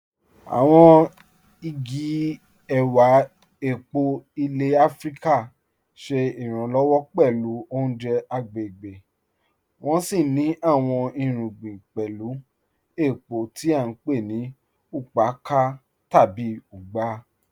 Àwọn igi èwà èpó ilẹ̀ Àfíríkà ṣé iranlọwọ pẹ̀lú ọ̀unjẹ̀ agbegbé, wọ́n sì ní àwọn irùgbìn pẹ̀lú èpó tí à npe ni "ùkpàkà" tàbí "ùgbà".